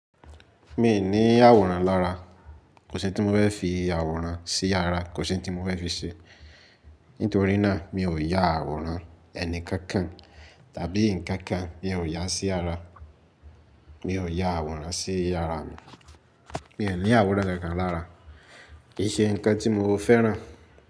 Mi ò ní àwòrán lára, kò sí ohun tí mo fẹ́ fi àwòrán sí yàrá, kò sí ohun tí mo fẹ́ fi ṣe. Nítorí náà, mi ò yá àwòrán ẹni kankan tàbí ǹkan kan, mi ò yá sí yàrá, mi ò yá àwòrán sí yàrá mi. Mi ò ní àwòran kàn kàn lára, kìí ṣe ǹkan tí mọ fẹ́ràn.